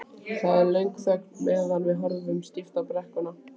Það er löng þögn meðan við horfum stíft á brekkuna.